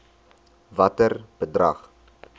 watter bedrag